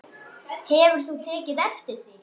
Hefur þú tekið eftir því?